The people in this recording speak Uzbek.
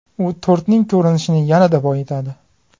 U tortning ko‘rinishini yanada boyitadi.